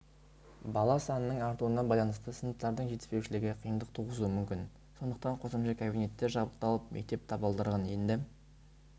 бала санының артуына байланысты сыныптардың жетіспеушілігі қиындық туғызуы мүмкін сондықтан қосымша кабинеттер жабдықталып мектеп табалдырығын енді